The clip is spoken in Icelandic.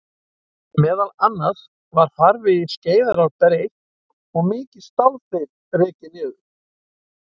Meðal annars var farvegi Skeiðarár breytt og mikið stálþil rekið niður.